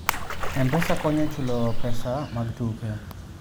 M-Pesa konyo e chulo pesa mag tuke.